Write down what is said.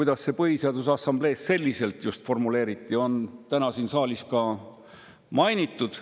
Seda, miks see Põhiseaduse Assamblees just selliselt formuleeriti, on täna siin saalis ka mainitud.